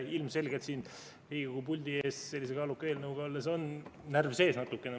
Ilmselgelt siin Riigikogu puldis sellise kaaluka eelnõuga olles on natukene närv sees.